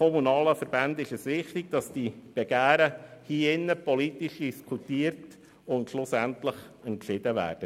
Den kommunalen Verbänden ist es wichtig, dass diese Begehren hier politisch diskutiert und schliesslich entschieden werden.